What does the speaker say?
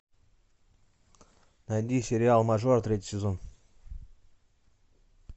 найди сериал мажор третий сезон